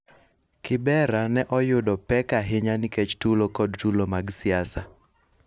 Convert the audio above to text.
Kibera ne oyudo pek ahinya nikech tulo kod tulo mag siasa